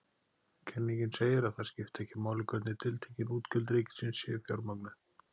Kenningin segir að það skipti ekki máli hvernig tiltekin útgjöld ríkisins séu fjármögnuð.